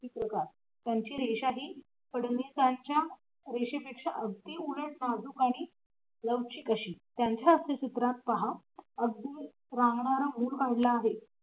चित्रकार त्यांची रेषाही फडणवीसांच्या रेषेपेक्षा अगदी उलट नाजूक आणि लवचिक अशी त्यांच्या हास्य चित्रात पहा अगदी रांगणार मूल काढलं आहे.